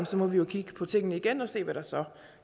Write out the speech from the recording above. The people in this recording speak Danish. så må vi kigge på tingene igen og se hvad der så